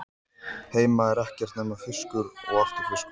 Heima er ekkert nema fiskur og aftur fiskur.